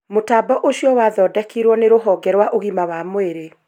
Mũtambo ũcio wathondekirwo nĩ rũhonge rwa ũgima wa mwĩrĩ